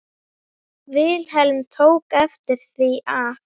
Vilhelm tók eftir því að